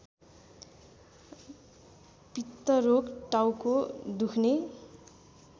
पित्तरोग टाउको दुख्ने